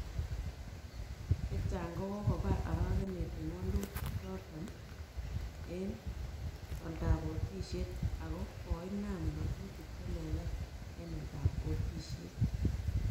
Chechang kokobar arakenet en walutik chuton en oldap otisiet ako koinam ng'atutik che lelach en oldap otisiet